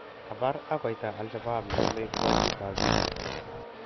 kapar ak koita alshabab nengeme kwanyig ap piik